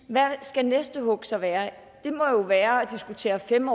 hvad skal det næste hug så være det må jo være at diskutere fem